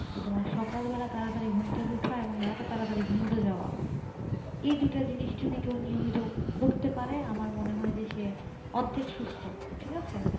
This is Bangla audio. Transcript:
যে তোমার সকাল বেলায় তাড়াতাড়ি ঘুম থেকে ওঠা এবং রাত্রে তাড়াতাড়ি ঘুমোতে যাওয়া এই দুটা জিনিস যদি কেউ নিয়মিত করতে পারে আমার মানে হয় যে সে অর্ধেক সুস্থ ঠিক আছে